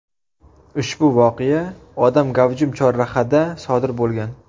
Ushbu voqea odam gavjum chorrahada sodir bo‘lgan.